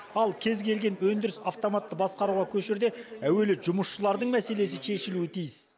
ал кез келген өндіріс автоматты басқаруға көшерде әуелі жұмысшылардың мәселесі шешілуі тиіс